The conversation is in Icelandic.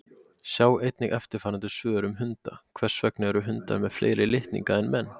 Sjá einnig eftirfarandi svör um hunda: Hvers vegna eru hundar með fleiri litninga en menn?